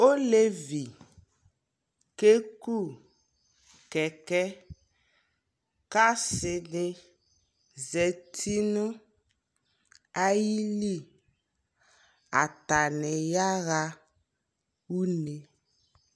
Ɔlɛvi kɛku kɛkɛ kasi di zati ayi liAta ni ya ɣa une